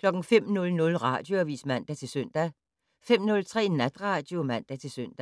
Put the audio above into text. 05:00: Radioavis (man-søn) 05:03: Natradio (man-søn)